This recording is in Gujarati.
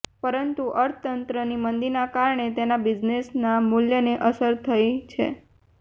પરંતુ અર્થતંત્રની મંદીના કારણે તેના બિઝનેસના મૂલ્યને અસર થઈ છે